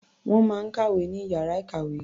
Wọ́n máa ń kàwé ní ìyára ìkàwé.